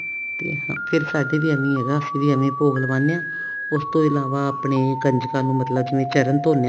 ਫ਼ੇਰ ਸਾਡੇ ਵੀ ਏਵੇਂ ਹੈਗਾ ਅਸੀਂ ਵੀ ਏਵੇਂ ਭੋਗ ਲਗਾਉਂਦੇ ਹਾਂ ਉਸ ਤੋਂ ਇਲਾਵਾ ਆਪਣੇ ਕੰਜਕਾਂ ਨੂੰ ਮਤਲਬ ਜਿਵੇਂ ਚਰਨ ਧੋਣੇ ਹਾਂ